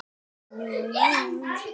Aldrei gert neitt annað.